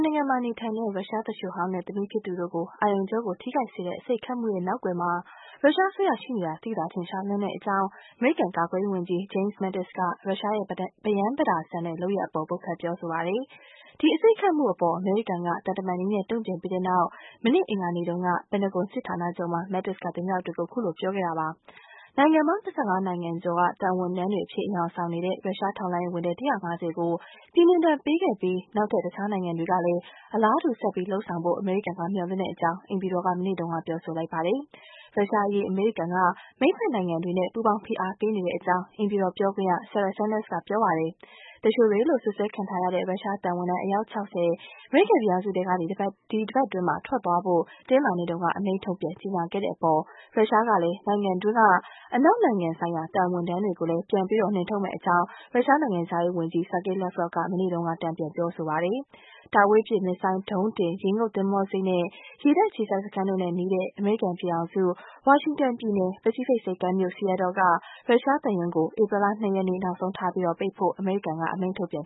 နိုင်ငံမှာ နေထိုင်တဲ့ ရုရှားသူလျှိုဟောင်းနဲ့ သမီးဖြစ်သူတို့ကို အာရုံကြော ထိခိုက်စေတဲ့ အဆိပ်နဲ့ တိုက်ခိုက်မှုရဲ့ နောက်ကွယ်မှာ ရုရှားအစိုးရ ရှိနေတာ သိသာထင်ရှားလွန်းတယ်ဆိုပြီး အမေရိကန်ကာကွယ်ရေးဝန်ကြီး Jim Mattis က ရုရှားတို့ရဲ့ အဆင်ခြင်မဲ့တဲ့ လုပ်ရပ်အပေါ် ဝေဖန်ပြောဆိုပါတယ်။ ဒီလုပ်ရပ်ကို အမေရိကန်နိုင်ငံက သံတမန်နည်းနဲ့ တုန့်ပြန်ဆောင်ရွက်ခဲ့ပြီးတဲ့နောက် မနေ့အင်္ဂါနေ့တုန်းက Pentagon စစ်ဌာနချုပ်မှာ ဝန်ကြီး Mattis က သတင်းထောက်တွေကို ပြောဆိုခဲ့တာပါ။ နိုင်ငံပေါင်း ၂၅ နိုင်ငံကျော်က သံတမန် အရေခြုံထားတဲ့ ရုရှားထောက်လှမ်းရေးအရာရှိ ၁၅၀ ကို ပြည်နှင်ဒဏ်ပေးခဲ့ပြီး နောက်ထပ်တခြားနိုင်ငံတွေလည်း အလားတူ ဆက်ပြီး လုပ်ဆောင်ဖို့ အမေရိကန်က မျှော်လင့်ကြောင်း အိမ်ဖြူတော်က မနေ့တုန်းက ပြောဆိုလိုက်ပါတယ်။ ရုရှားအရေး အမေရိကန်က မဟာမိတ်နိုင်ငံတွေနဲ့ ပူးပေါင်းဖိအားပေးဆောင်ရွက်နေတဲ့အကြောင်း အိမ်ဖြူတော်ပြောခွင့်ရ Sarah Sanders က ပြောပါတယ်။ သူလျှိုတွေလို့ စွပ်စွဲခံထားရတဲ့ ရုရှားသံဝန်ထမ်း အယောက် ၆၀ အမေရိကန်ပြည်ထောင်စုထဲကနေ တပတ်အတွင်းက ထွက်သွားဖို့ တနင်္လာနေ့တုန်းက အမိန့်ထုတ်ပြန် ကြေညာခဲ့တဲ့အပေါ် ရုရှားကလည်း သူ့ နိုင်ငံတွင်းက အနောက်နိုင်ငံကသံဝန်ထမ်းတွေကို ပြန်ပြီး နှင်ထုတ်မယ့်အကြောင်း ရုရှားနိုင်ငံခြားရေးဝန်ကြီး Sergei Lavrov က မနေ့တုန်းက တုန့်ပြန်ပြောဆိုပါတယ်။ တာဝေးပစ်မစ်ဇိုင်းဒုံးတင် ရေငုပ်သင်္ဘောဆိပ်နဲ့ ရေတပ်အခြေစိုက်စခန်းတို့နဲ့နီးတဲ့ အမေရိကန်ပြည်ထောင်စု Washington ပြည်နယ် ပစိဖိတ်ဆိပ်ကမ်းမြို့ Seattle က ရုရှားသံရုံးကို ဧပြီလ ၂ ရက်နေ့ နောက်ဆုံးထားပြီး ပိတ်ပစ်ဖို့ကိုလည်း အမေရိကန်အစိုးရက အမိန့်ထုတ်ပြန်